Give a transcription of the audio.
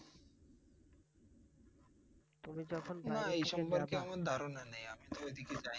না এই সম্পর্কে আমার ধারণা নেই আমি তো ঐদিকে যায়না